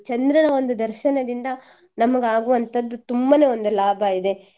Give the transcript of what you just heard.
ಚಂದ್ರನ ಒಂದು ದರ್ಶನದಿಂದ ನಮಗ್ ಆಗುವಂತದ್ದು ತುಂಬನೆ ಒಂದು ಲಾಭ ಇದೆ